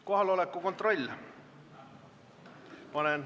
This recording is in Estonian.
Kohaloleku kontroll.